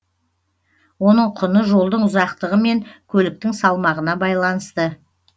оның құны жолдың ұзақтығы мен көліктің салмағына байланысты